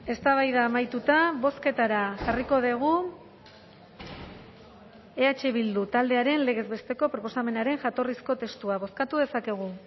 eztabaida amaituta bozketara jarriko dugu eh bildu taldearen legez besteko proposamenaren jatorrizko testua bozkatu dezakegu